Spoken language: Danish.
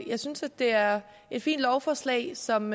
jeg synes det er et fint lovforslag som